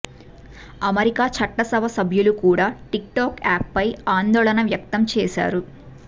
America చట్టసభ సభ్యులు కూడా టిక్టాక్ యాప్ పట్ల ఆందోళన వ్యక్తం చేశారు